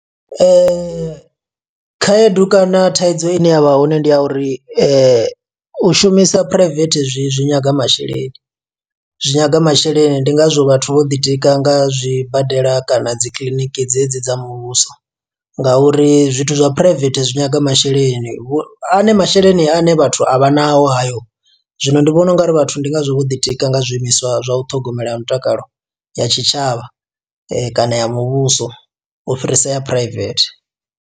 Khaedu kana thaidzo ine yavha hone ndi ya uri u shumisa phuraivethe zwi zwi zwi nyaga masheleni. Zwi nyaga masheleni, ndi ngazwo vhathu vho ḓi tika nga zwibadela kana dzi kiḽiniki dze dzi dza muvhuso, nga uri zwithu zwa phuraivethe zwi nyaga masheleni. A ne masheleni ane vhathu a vhanao hayo. Zwino ndi vhona u ngari vhathu ndi ngazwo vho ḓi tika nga zwiimiswa zwa u ṱhogomela mutakalo ya tshitshavha kana ya muvhuso u fhirisa ya phuraivethe.